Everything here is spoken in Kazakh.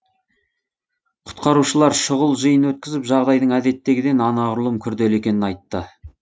құтқарушылар шұғыл жиын өткізіп жағдайдың әдеттегіден анағұрлым күрделі екенін айтты